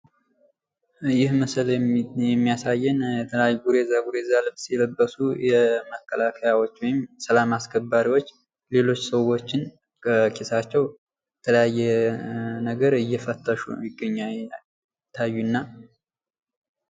ይህ በምስሉ ላይ የምናየው ዝጉርጉር ልብስ የለበሱ ወታደሮች ወይም ሚኒሻዎች ተሰብስበው የሚያሳየን ምስል ነው።